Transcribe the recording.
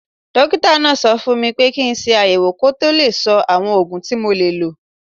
Dókítà náà sọ fún mi pé kí n ṣe àyẹ̀wò kó tó lè sọ àwọn oògùn tí mo lè lò